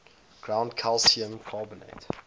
ground calcium carbonate